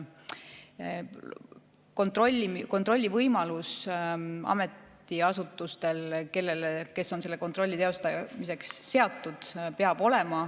Kontrollivõimalus peab ametiasutustel, kes on selle kontrolli teostamiseks seatud, olema.